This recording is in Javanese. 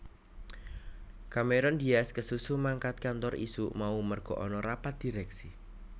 Cameron Diaz kesusu mangkat kantor isuk mau merga ana rapat direksi